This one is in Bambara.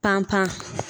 Pan pan